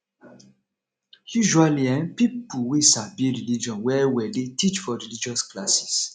usually um na pipo wey sabi religion well well dey teach for religious classes